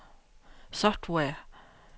software